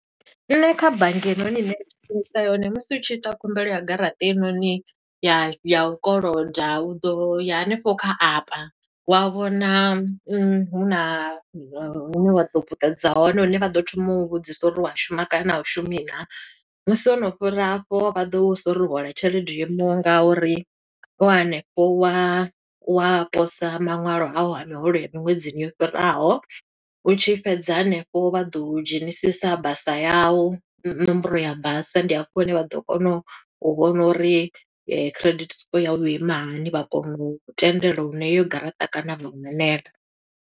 Nṋe kha bannga henoni ine shumisa yone, musi u tshi ita khumbelo ya garaṱa heinoni ya ya u koloda, u ḓo ya hanefho kha app, wa vhona huna hune wa ḓo puṱedza hone, hune vha ḓo thoma u vhudzisa uri u wa shuma kana u shumi naa. Musi wo no fhira hafho, vha ḓo u vhusa uri u hola tshelede yo imaho nga uri. U hanefho wa, wa posa maṅwalo a u a miholo ya miṅwedzini yo fhiraho, u tshi fhedza hanefho vha ḓo u dzhenisisa basa yau, ṋomboro ya basa. Ndi hafho hune vha ḓo kona u vhona uri credit score yau yo ima hani, vha kona u tendela uri na eyo garaṱa kana vha u hanela.